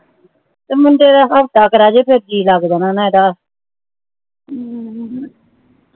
ਤੇ ਮੁੰਡੇ ਕੋਲ ਹਫ਼ਤਾ ਕਾ ਰੇਹਜੇ ਤਾਂ ਜੀ ਲਗ ਜਾਣਾ ਨਾ ਇਹਦਾ ਹਮ